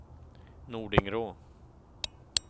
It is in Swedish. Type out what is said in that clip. Nordingrå